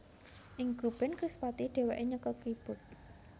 Ing grup band Krispatih dhèwèké nyekel keyboard